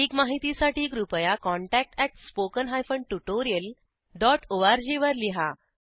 अधिक माहितीसाठी कृपया contactspoken tutorialorg वर लिहा